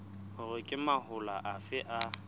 hore ke mahola afe a